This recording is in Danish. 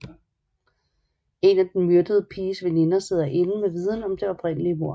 En af den myrdede piges veninder sidder inde med viden om det oprindelige mord